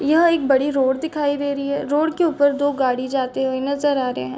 यह एक बड़ी रोड दिखाई दे रही है रोड के ऊपर दो गाड़ी जाते हुए नजर आ रहे है।